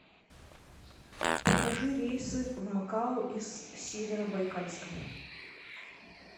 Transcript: покажи рейсы в макао из северобайкальска